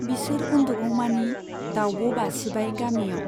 बिसोर उन्दुगौमानि दाउब' बासिबाय गामियाव।